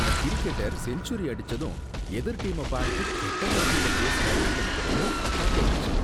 அந்த cricketer century அடிச்சதும் எதிர் டீம பார்த்து கெட்ட வார்த்தையில பேசுனது எனக்கு ரொம்ப தப்பா தோணுச்சு.